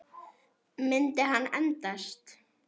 Myndi hann endast?